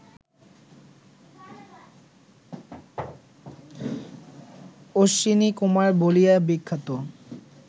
অশ্বিনীকুমার বলিয়া বিখ্যাত